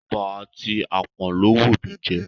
Eba àti apon ló wù mí jẹ.